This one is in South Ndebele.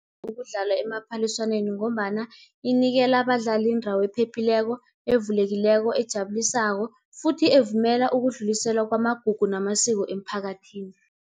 Ukudlala emaphaliswaneni ngombana inikela abadlali indawo ephephileko, evulekileko, ejabulisako futhi evumela ukudluliselwa kwamagugu namasiko emphakathini.